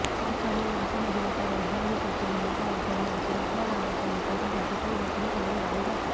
शाहरूखने नासामधील एका वैज्ञानिकाची भूमिका वठवली असून आपल्या गावाच्या विकासाठी तो नोकरी सोडून गावी जातो